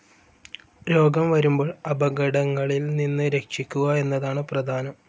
രോഗം വരുമ്പോൾ അപകടങ്ങളിൽ നിന്ന് രക്ഷിക്കുക എന്നതാണ് പ്രധാനം.